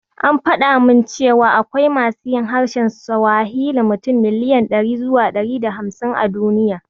An faɗa min cewa akwai masu yin harshen Siwahili mutum miliyan ɗari zuwa ɗari da hamsin a duniya.